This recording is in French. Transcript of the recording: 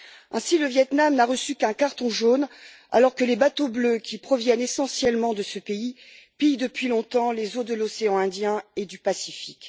Ainsi, le Viêt Nam n'a reçu qu'un carton jaune, alors que les bateaux bleus, qui proviennent essentiellement de ce pays, pillent depuis longtemps les eaux de l'océan Indien et du Pacifique.